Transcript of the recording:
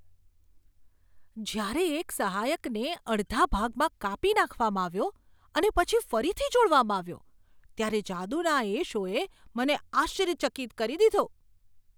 જ્યારે એક સહાયકને અડધા ભાગમાં કાપી નાખવામાં આવ્યો અને પછી ફરીથી જોડવામાં આવ્યો ત્યારે જાદુના તે શોએ મને આશ્ચર્યચકિત કરી દીધો.